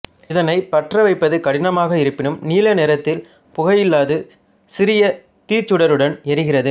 இதனை பற்ற வைப்பது கடினமாக இருப்பினும் நீலநிறத்தில் புகையில்லாது சிறிய தீச்சுடருடன் எரிகிறது